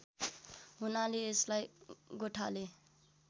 हुनाले यसलाई गोठाले